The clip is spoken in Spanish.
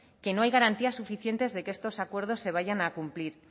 que no hay garantías suficientes de que estos acuerdos se vayan a cumplir